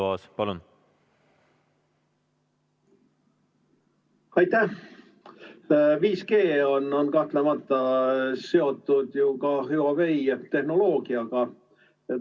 5G on kahtlemata seotud ju ka Huawei tehnoloogiaga.